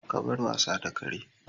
Ka bar wasa da kare!